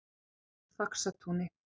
Faxatúni